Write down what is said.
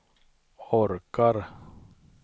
orkar